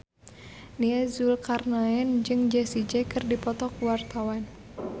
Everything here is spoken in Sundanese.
Nia Zulkarnaen jeung Jessie J keur dipoto ku wartawan